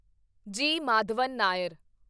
ਜੀ. ਮਾਧਵਨ ਨਾਇਰ